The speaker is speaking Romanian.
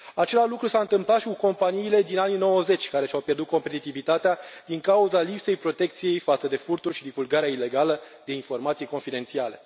Același lucru s a întâmplat și cu companiile din anii 90, care și au pierdut competitivitatea din cauza lipsei protecției față de furtul și divulgarea ilegală de informații confidențiale.